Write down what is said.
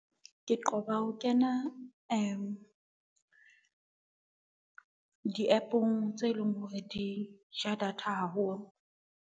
Ke qoba ho kena di-app-ong tse leng hore di ja data haholo.